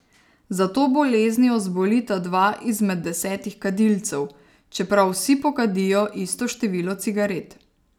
Za to boleznijo zbolita dva izmed desetih kadilcev, čeprav vsi pokadijo isto število cigaret.